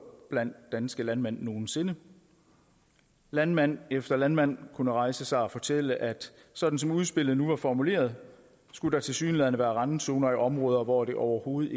blandt danske landmænd nogensinde landmand efter landmand kunne rejse sig og fortælle at sådan som udspillet nu var formuleret skulle der tilsyneladende være randzoner i områder hvor det overhovedet